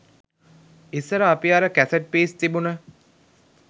ඉස්සර අපි අර කැසට් පීස් තිබුණ